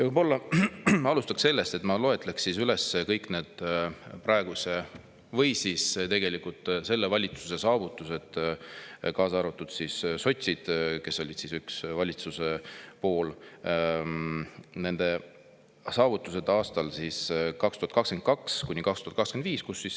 Võib-olla alustaks sellest, et ma loen üles kõik valitsuse saavutused – selle valitsuse, kuhu sotsid, kes olid valitsuses üks osapool – aastatel 2022–2025.